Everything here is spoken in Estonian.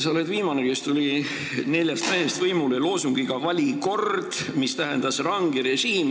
Sa oled viimane neljast mehest, kes tuli võimule loosungiga "Vali kord!", mis tähendas ranget režiimi.